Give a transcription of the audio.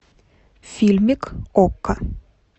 фильмик окко